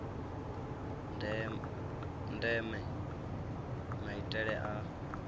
ya ndeme maitele a